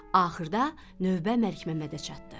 Axırda növbə Məlikməmmədə çatdı.